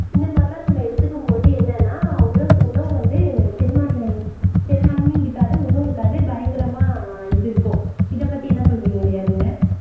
இந்த மாதிரிலாம் நம்ம எடுத்துக்கும் போது என்னன்னா உணவு வந்து செரிமாற்றம் செரிமானமே இருக்காது ஒண்ணும் இருக்காது பயங்கரமா இது இருக்கும் இதை பத்தி என்ன சொல்றீங்க லியா நீங்க